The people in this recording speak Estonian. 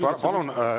Palun!